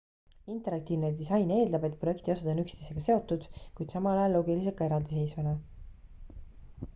interaktiivne disain eeldab et projekti osad on üksteisega seotud kuid samal ajal loogilised ka eraldiseisvana